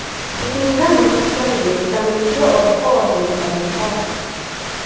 Ikkinchidan, mustahkamligi, chidamliligi oddiy qog‘ozga nisbatan yuqori.